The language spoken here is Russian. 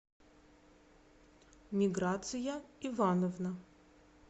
миграция ивановна